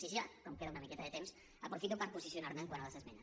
i ja com queda una miqueta de temps aprofito per posicionarme quant a les esmenes